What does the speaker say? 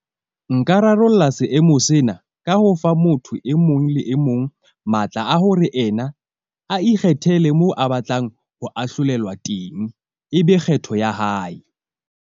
Nka rarolla seemo sena ka ho fa motho e mong le e mong matla a hore ena a ikgethele moo a batlang ho ahlolelwa teng, e be kgetho ya hae.